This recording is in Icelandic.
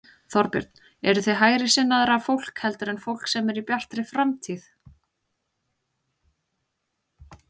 Þorbjörn: Eruð þið hægri sinnaðra fólk heldur en fólk sem er í Bjartri framtíð?